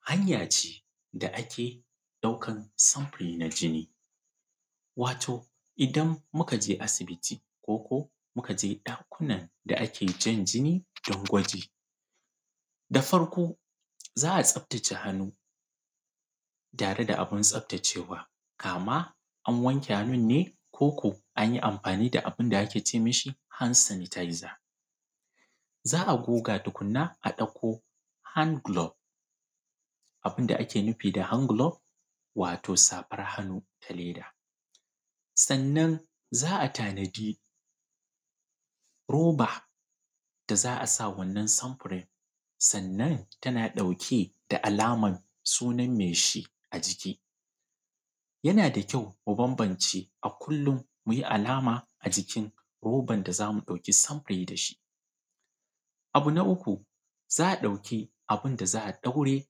Hanya ce da ake ɗaukan sinfiri na jini wato idan muka je asibiti ko muka je ɗakunan da ake jan jini dan gwaji da farko za a tsaftace hannu tare da abun tsaftace wa kama an wanke hannun ne ko ko an yi amfani da abun da ake ce mishi hand sanitaiza, za a goge tukun na a ɗauko hand gulof, abun da ake nufi da hangulof wato safar hannu da leda sannan za a tanadi roba da za a sa wannan sunfirin, sannan tana ɗauke da alaman sunan me shi a jiki yana da kyau mu bambance a kullum alama a cikin roban da za mu ɗauki sanfiri da shi. Abu na uku za a ɗauki abun da za a ɗaure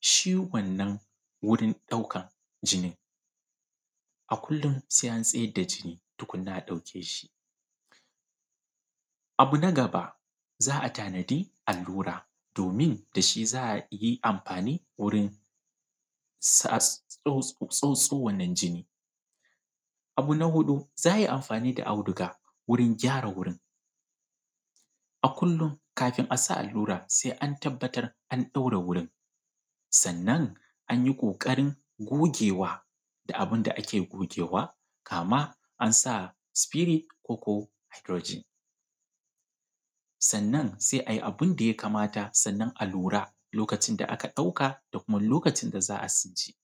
shi wannan wurin ɗaukan a kullum se an tsayar da jini tukunna, a ɗauke shi, abu na gaba za a tanaji allura don tashi za a yi amfani wurin tsotso wannan jini, abu na huɗu za a yi amfani da auduga wurin gyara wurin a kullum kafun a sa allura se an tabbatar an ɗaure wurin sannan an yi ƙoƙarin gogewa da abun da ake gogewa kaman an sa sifirid koko haidurojin sannan se a yi abun da ya kamata. Sannan a lura lokacin da aka ɗauka da kuma lokacin da za a cire.